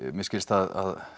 mér skilst að